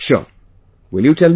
Sure, will you tell me